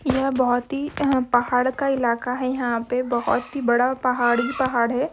यह बहुत ही पहाड़ का इलाका है यहाँ पे बहुत ही बड़ा पहाड़ ही पहाड़ हैं।